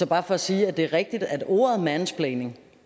bare for at sige at det er rigtigt at ordet mansplaining